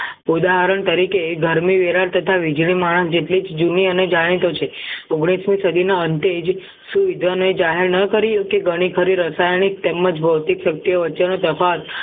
ઉદાહરણ તરીકે ગરમી વેરણ તથા વીજળી માણસ જેટલી જૂની અને જાણીતો છે ઓગણીસ મી સદીના અંતે જ સુવિધાને જાહેર ન કરી શકે ગણી ખરી રસાયણિક તેમજ ભૌતિક શક્તિઓ વચ્ચેનો તફાવત